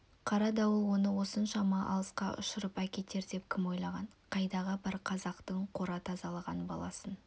қара дауыл оны осыншама алысқа ұшырып әкетер деп кім ойлаған қайдағы бір қазақтың қора тазалаған баласына